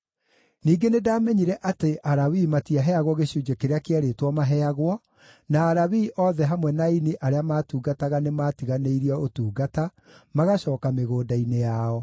Ningĩ nĩndamenyire atĩ Alawii matiaheagwo gĩcunjĩ kĩrĩa kĩerĩtwo maaheagwo, na Alawii othe hamwe na aini arĩa maatungataga nĩmatiganĩirie ũtungata, magacooka mĩgũnda-inĩ yao.